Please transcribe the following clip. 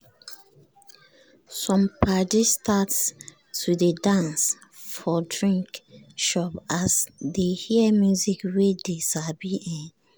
some padi start to dey dance for drink shop as dey hear music wey dey sabi. um